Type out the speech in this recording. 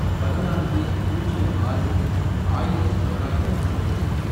பதினான்கு, பூஜ்யம் ஆறு, ஆயிரத்து தொள்ளாயிரத்து ஒன்பது